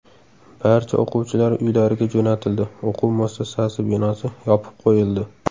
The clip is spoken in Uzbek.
Barcha o‘quvchilar uylariga jo‘natildi, o‘quv muassasasi binosi yopib qo‘yildi.